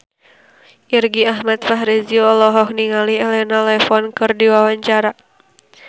Irgi Ahmad Fahrezi olohok ningali Elena Levon keur diwawancara